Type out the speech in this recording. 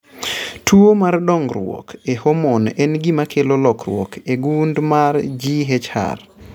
Tuwo mar dongruok e homon en gima kelo lokruok e gund mar GHR.